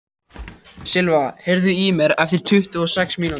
Silva, heyrðu í mér eftir tuttugu og sex mínútur.